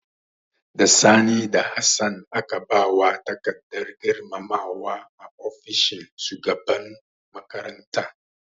Da Sani da Hassan aka ba wa takardar girmamawa a ofishin shugaban makaranta.